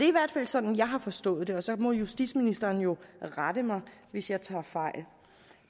i hvert fald sådan jeg har forstået det og så må justitsministeren jo rette mig hvis jeg tager fejl